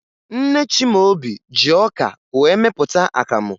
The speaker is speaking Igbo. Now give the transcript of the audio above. Nne Chimaobi ji ọka wee mepụta akamụ